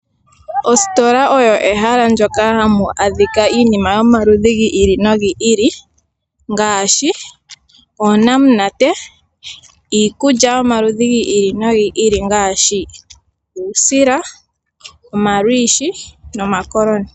Ositola oyo ehala ndyoka hamu adhika iinima yomaludhi giili nogi ili. Ngaashi oonamunate, iikulya yomaludhi giili nogiili ngaashi uusila, omalwiishi nomakoloni.